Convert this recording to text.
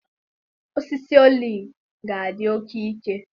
Osisi oliv ga-adị oke ike.